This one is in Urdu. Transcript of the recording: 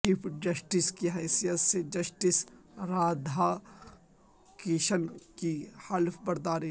چیف جسٹس کی حیثیت سے جسٹس رادھا کرشنن کی حلف برداری